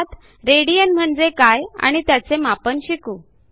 यात रेडियन म्हणजे काय आणि त्याचे मापन शिकू